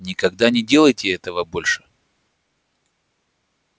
никогда не делайте этого больше